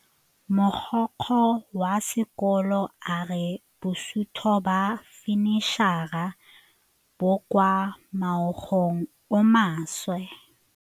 Mogokgo wa sekolo a re bosutô ba fanitšhara bo kwa moagong o mošwa.